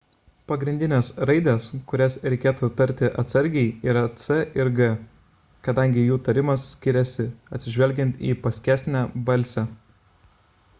pagrindinės raidės kurias reikėtų tarti atsargiai yra c ir g kadangi jų tarimas skiriasi atsižvelgiant į paskesnę balsę